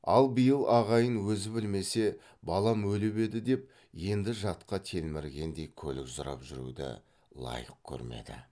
ал биыл ағайын өзі білмесе балам өліп еді деп енді жатқа телміргендей көлік сұрап жүруді лайық көрмеді